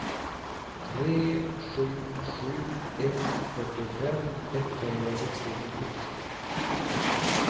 tre sju sju ett fyrtiofem etthundrasextionio